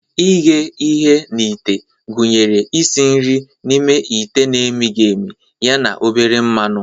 Ighe ihe na ite gụnyere isi nri n'ime ite na-emighị emi ya na obere mmanụ.